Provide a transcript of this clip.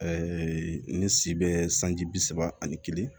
ne si bɛ sanji bi saba ani kelen